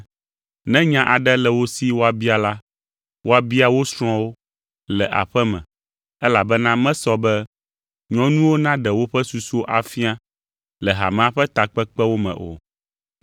Ne nya aɖe le wo si woabia la, woabia wo srɔ̃wo le aƒe me, elabena mesɔ be nyɔnuwo naɖe woƒe susuwo afia le hamea ƒe takpekpewo me o.